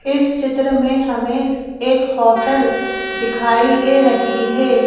इस चित्र में हमें एक होटल दिखाई दे रही है।